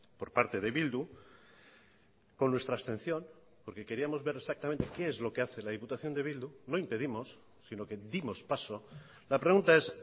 por parte de bildu con nuestra abstención porque queríamos ver exactamente qué es lo que hace la diputación de bildu no impedimos sino que dimos paso la pregunta es